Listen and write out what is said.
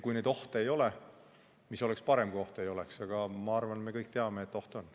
Kui neid ohte ei oleks, siis oleks muidugi parem, aga ma arvan, et me kõik teame, et oht on.